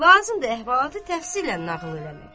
Lazımdır əhvalatı təfsillə nağıl eləmək.